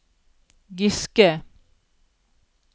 Giske